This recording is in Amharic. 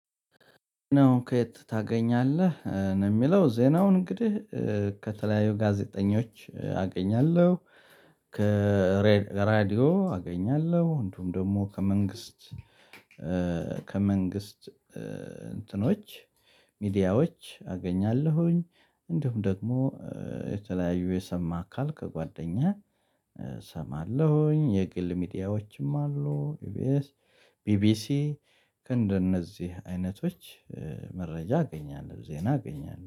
ነው? ከየት ታገኛለህ ነው የሚለው ዜናውን እንግዲህ ከተለያዩ ጋዜጠኞች አገኛለሁ። ከራዲዮ አገኛለሁ እንዲሁም ደግሞ ከመንግስት ከመንግስት እንትኖች ሚዲያዎች አገኛለሁኝ። እንዲሁም ደግሞ የተለያዩ የሰማ አካል ከጓደኛ እሰማለሁኝ። የግል ሚዲያዎችም አሉ ኢቤኤስ ቢቢሲ ከእንደነዚህ አይነቶች መረጃ አገኛለሁ ዜና አገኛለሁ